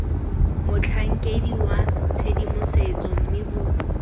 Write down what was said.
motlhankedi wa tshedimosetso mme bo